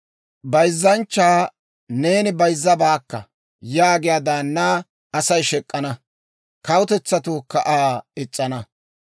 Bayzzanchchaa, «Neeni bayzzabaakka» yaagiyaa daannaa Asay shek'k'ana; kawutetsatuukka Aa is's'ana.